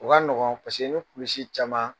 O ka nɔgɔn paseke ni kululisisi caman.